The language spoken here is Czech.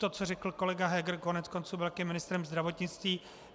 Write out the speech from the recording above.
To, co řekl kolega Heger, koneckonců byl také ministrem zdravotnictví.